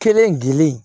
Kelen gili